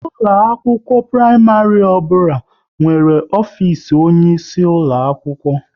Ụlọ akwụkwọ praịmarị ọbụla nwere ofisi onye isi ulo akwụkwọ